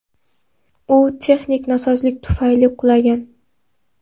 U texnik nosozlik tufayli qulagan.